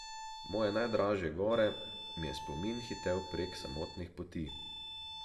Moje najdražje gore, mi je spomin hitel prek samotnih poti.